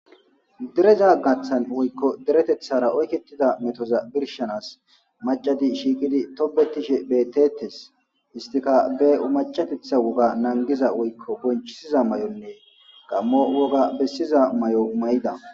dereza gaththan woykko deretethara oyketida metoza birshanas macati shiiqidi tobetishe betetes istika be umacatetha woga nangiza woykko bonchisiza mayonne gammo woga bessiza mayo mayida